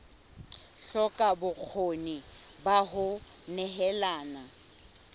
hloka bokgoni ba ho nehelana